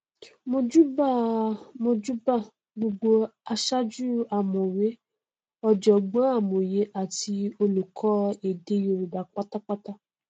mojúbà mojúbà gbogbo aṣájú ọmọwé ọjọgbọn amòye àti olùkọ èdè yorùbá pátápátá